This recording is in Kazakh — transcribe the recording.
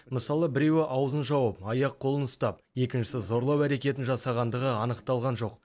мысалы біреуі аузын жауып аяқ қолын ұстап екіншісі зорлау әрекетін жасағандығы анықталған жоқ